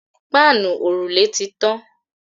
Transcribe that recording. Páànù òrùlé tí tàn